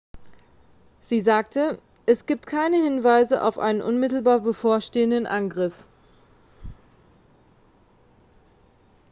sie sagte es gibt keine hinweise auf einen unmittelbar bevorstehenden angriff